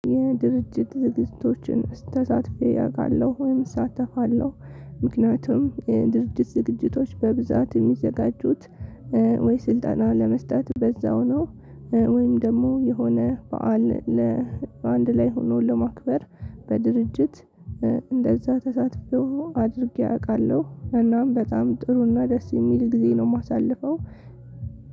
የድርጅት ዝግጅቶችን ተሳትፌ አውቃለሁ ወይም እሳተፋለሁ ምክንያቱም የድርጅት ዝግጅቶች በብዛት የሚዘጋጁት ወይ ስልጠናውን ለመስጠት በዛው ነው ወይም ደግሞ የሆነ በዓል ለአንድ ላይ ሆኖ ለማክበር በድርጅት እንደዛ ተሳትፎ አድርጌ አውቃለሁ። እናም በጣም ጥሩና ደስ የሚል ጊዜ ነው የማሳልፈው።